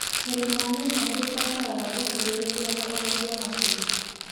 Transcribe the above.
Kũrĩma nyanya nĩ kũbataraga ũkirĩrĩria na ũrori wa hakuhĩ